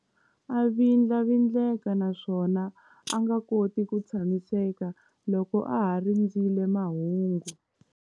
A vindlavindleka naswona a nga koti ku tshamiseka loko a ha rindzerile mahungu.